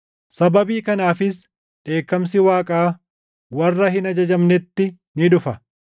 Sababii kanaafis dheekkamsi Waaqaa warra hin ajajamnetti ni dhufa.